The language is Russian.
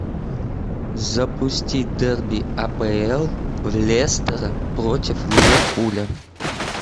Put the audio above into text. запустить дерби апл лестера против ливерпуля